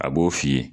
A b'o f'i ye